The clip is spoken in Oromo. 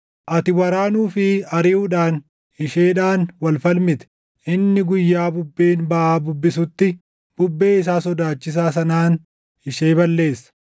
Ati waraanuu fi ariʼuudhaan isheedhaan wal falmite; inni guyyaa bubbeen baʼaa bubbisutti, bubbee isaa sodaachisaa sanaan ishee balleessa.